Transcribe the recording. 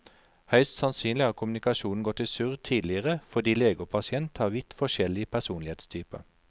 Høyst sannsynlig har kommunikasjonen gått i surr tidligere fordi lege og pasient har vidt forskjellig personlighetstyper.